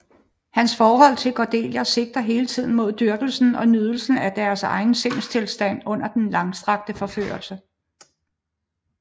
Hans forhold til Cordelia sigter hele tiden imod dyrkelsen og nydelsen af hans egen sindstilstand under den langstrakte forførelse